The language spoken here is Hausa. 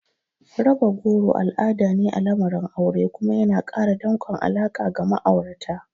Raba goro al'ada ne a lamarin aure kuma yana ƙara danƙon alaƙa ga ma'aurata.